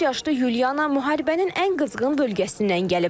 13 yaşlı Yulyana müharibənin ən qızğın bölgəsindən gəlib.